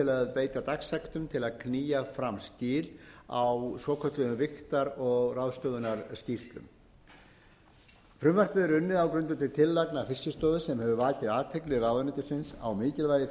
beita dagsektum til að knýja fram skil á svokölluðum vigtar og ráðstöfunarskýrslum frumvarpið er unnið á grundvelli tillagna fiskistofu sem hefur vakið athygli ráðuneytisins á mikilvægi